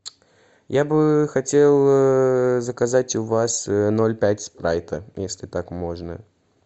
я бы хотел заказать у вас ноль пять спрайта если так можно